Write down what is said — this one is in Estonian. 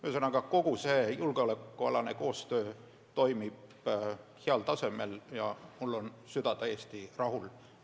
Ühesõnaga, kogu julgeolekualane koostöö toimib heal tasemel ja mul on süda täiesti rahul.